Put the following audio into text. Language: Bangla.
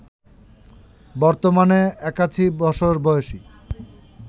বর্তমানে ৮১ বছর বয়সী